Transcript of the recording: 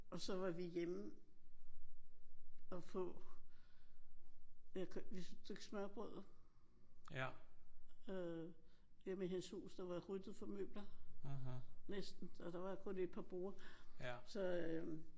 Og så var vi hjemme og få et stykke smørrebrød øh hjemme i hendes hus der var ryddet for møbler næsten. Der var kun et par borde så